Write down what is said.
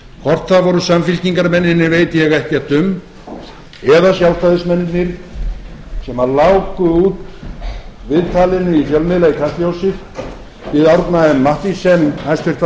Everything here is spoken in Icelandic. það voru samfylkingarmennirnir veit ég ekkert um eða sjálfstæðismennirnir sem láku út viðtalinu í fjölmiðla í kastljósi við árna m mathiesen hæstvirtur fjármálaráðherra þar